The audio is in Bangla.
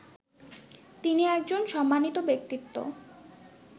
তিনি একজন সম্মানিত ব্যক্তিত্ব